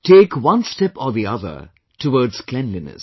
Take one or another step towards cleanliness